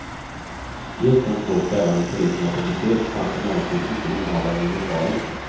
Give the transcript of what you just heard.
Just de två kvällar när polisen var på besök fanns emellertid inte innehavaren i lokalen.